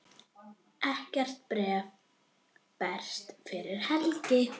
Síðar gerði hann þessar vísur: